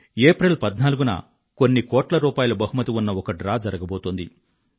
April 14న కొన్ని కోట్ల రూపాయల బహుమతి ఉన్న ఒక డ్రా జరగబోతోంది